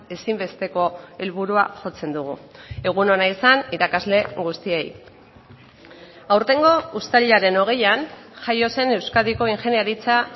ezinbesteko helburua jotzen dugu egun ona izan irakasle guztiei aurtengo uztailaren hogeian jaio zen euskadiko ingeniaritza